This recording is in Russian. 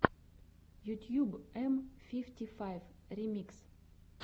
ютьюб м фифти файв ремикс